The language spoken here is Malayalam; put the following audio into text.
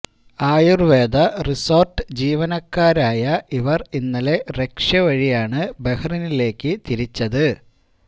ആയുര്വേദ റിസോര്ട്ട് ജീവനക്കാരായ ഇവര് ഇന്നലെ റഷ്യ വഴിയാണ് ബഹറിനിലേക്ക് തിരിച്ചത്